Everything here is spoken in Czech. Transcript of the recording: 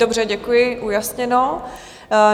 Dobře, děkuji, ujasněno.